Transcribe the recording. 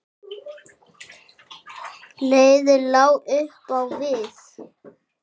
Leiðin lá upp á við.